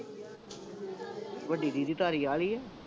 ਵੱਡੀ ਦੀਦੀ ਧਾਲੀਵਾਲ ਹੀ ਏ